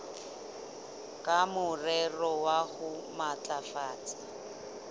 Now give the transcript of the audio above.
ka morero wa ho matlafatsa